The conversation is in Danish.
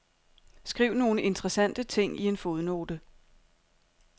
Skriv nogle interessante ting i en fodnote.